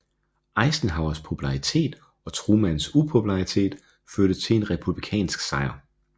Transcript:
Eisenhowers popularitet og Trumans upopularitet førte til en republikansk sejr